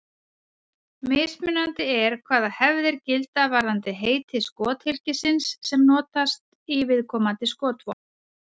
Mismunandi er hvaða hefðir gilda varðandi heiti skothylkisins sem notast í viðkomandi skotvopn.